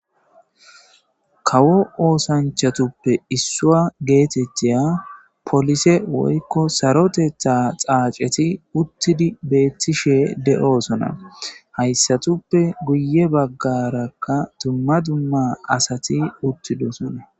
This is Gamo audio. kawo oosanchatuppe issua geetettiya polise woykko sarotetha xaaceti uttidi beettishe de7osona hayssatuppe guye baggarakka dumma dumma asati uttidosona